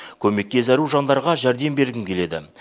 көмекке зәру жандарға жәрдем бергім келеді